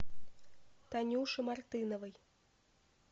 танюши мартыновой